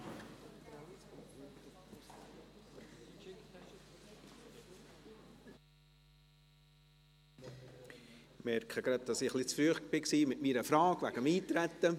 Ich merke gerade, dass ich etwas zu früh war mit meiner Frage betreffend Eintreten.